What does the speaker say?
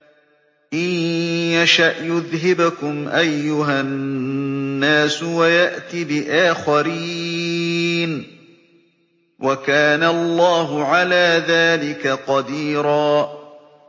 إِن يَشَأْ يُذْهِبْكُمْ أَيُّهَا النَّاسُ وَيَأْتِ بِآخَرِينَ ۚ وَكَانَ اللَّهُ عَلَىٰ ذَٰلِكَ قَدِيرًا